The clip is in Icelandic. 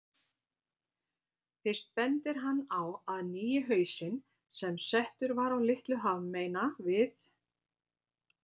Fyrst bendir hann á að nýi hausinn, sem settur var á Litlu hafmeyna við